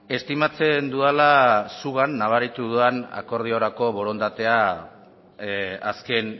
estimatzen dudala zugan nabaritu dudan akordiorako borondatea azken